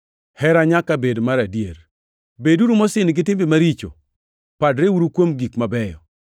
Hera nyaka bed mar adier. Beduru mosin gi timbe maricho; padreuru kuom gik mabeyo.